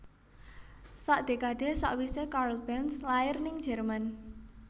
Sak dekade sakwise Karl Benz lair ning Jerman